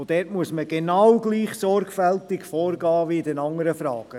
Dort muss man genau gleich sorgfältig vorgehen wie in den anderen Fragen.